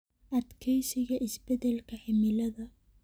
Adkeysiga Isbeddelka Cimilada.